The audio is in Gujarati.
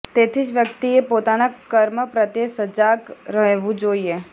તેથી જ વ્યક્તિએ પોતાના કર્મ પ્રત્યે સજાગ રહેવું જોઈએ